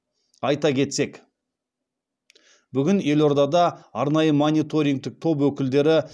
айта кетсек бүгін елордада арнайы мониторингтік топ өкілдері